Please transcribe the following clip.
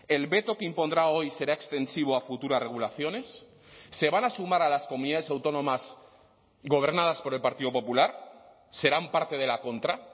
el veto que impondrá hoy será extensivo a futuras regulaciones se van a sumar a las comunidades autónomas gobernadas por el partido popular serán parte de la contra